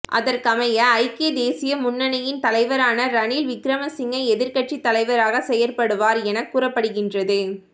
அதற்கமைய ஐக்கிய தேசிய முன்னணியின் தலைவரான ரணில் விக்ரமசிங்க எதிர்கட்சி தலைவராக செயற்படுவார் என கூறப்படுகின்றது